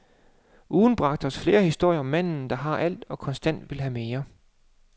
Ugen bragte os flere historier om manden, der har alt og konstant vil have mere.